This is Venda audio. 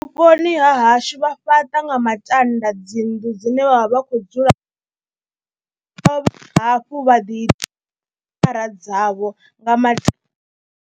Vhuponi ha hashu vha fhaṱa nga matanda dzi nnḓu dzine vha vha vha khou dzula, hafhu vha ḓi phara dzavho nga matombo.